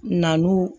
Namu